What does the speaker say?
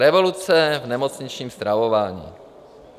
Revoluce v nemocničním stravování.